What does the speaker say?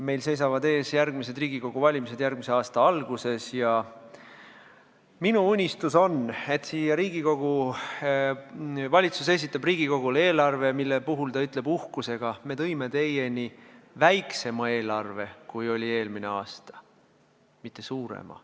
Meil seisavad ees Riigikogu valimised järgmise aasta alguses ja minu unistus on, et valitsus esitab Riigikogule eelarve, mille kohta ta ütleb uhkusega: me tõime teieni väiksema eelarve kui eelmisel aastal, mitte suurema.